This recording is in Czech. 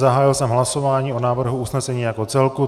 Zahájil jsem hlasování o návrhu usnesení jako celku.